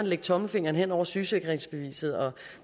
lægge tommelfingeren hen over sygesikringsbeviset og